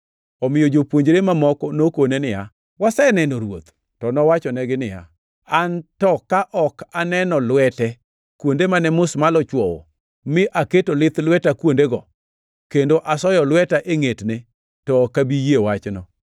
Omiyo jopuonjre mamoko nokone niya, “Waseneno Ruoth!” To nowachonegi niya, “An to ka ok aneno lwete kuonde mane musmal ochwowo, mi aketo lith lweta kuondego, kendo asoyo lweta e ngʼetne, to ok abi yie wachno.”